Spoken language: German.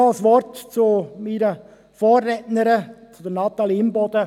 Noch ein Wort zu meiner Vorrednerin Natalie Imboden: